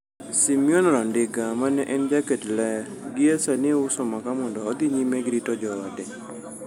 Simeon Randinga, mane en jaket ler gi e sani uso maka mondo odhi nyime gi rito joode.